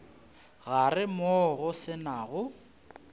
gare moo go se nago